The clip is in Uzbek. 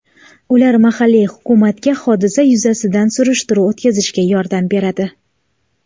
Ular mahalliy hukumatga hodisa yuzasidan surishtiruv o‘tkazishga yordam beradi.